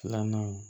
Filanan